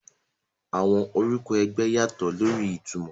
Àwọn orúkọ ẹgbẹ́ yàtọ̀ lórí ìtumọ̀.